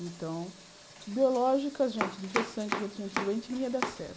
Então, biológica, gente, de ver sangue feito em gente doente não ia dar certo.